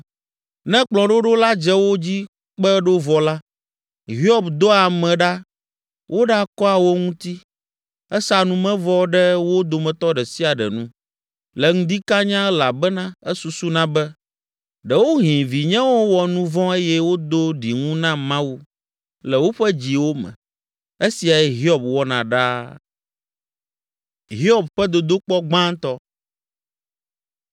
Ne kplɔ̃ɖoɖo la dze wo dzi kpe ɖo vɔ la, Hiob dɔa ame ɖa woɖakɔa wo ŋuti. Esaa numevɔ ɖe wo dometɔ ɖe sia ɖe nu, le ŋdi kanya elabena esusuna be, “Ɖewohĩ vinyewo wɔ nu vɔ̃ eye wodo ɖiŋu na Mawu le woƒe dziwo me.” Esiae Hiob wɔna ɖaa.